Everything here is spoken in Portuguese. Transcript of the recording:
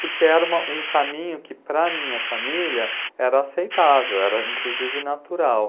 Porque era um caminho que, para a minha família, era aceitável, era inclusive natural.